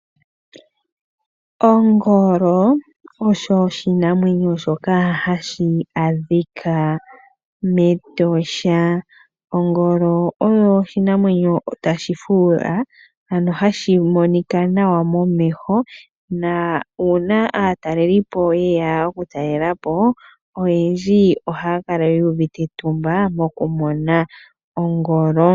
Ongoloo, osho oshinamwenyo shoka hashi adhika mEtosha. Ongolo oyo oshinamwenyo tashi fuula, ano hashi monika nawa momeho, na uuna aatalelipo yeya okutalela po, oyendji ohaya kala yu uvite etumba mokumona ongolo.